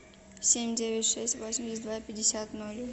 семь девять шесть восемьдесят два пятьдесят ноль